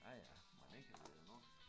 Ja ja mon ikke at det er noget